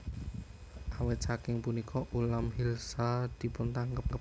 Awit saking punika ulam Hilsa dipuntangkep